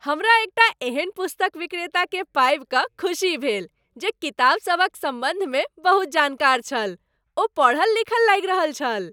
हमरा एकटा एहन पुस्तक विक्रेताकेँ पाबि कऽ खुशी भेल जे किताबसभक सम्बन्धमे बहुत जानकार छल। ओ पढ़ल लिखल लागि रहल छल।